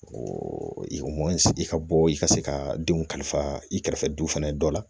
mɔn sigi ka bɔ i ka se ka denw kalifa i kɛrɛfɛ duw fɛnɛ dɔ la